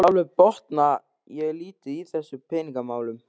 Sjálfur botna ég lítið í þessum peningamálum